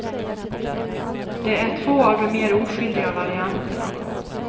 Det är två av de mer oskyldiga varianterna.